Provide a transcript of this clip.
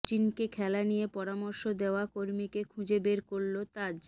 সচিনকে খেলা নিয়ে পরামর্শ দেওয়া কর্মীকে খুঁজে বের করল তাজ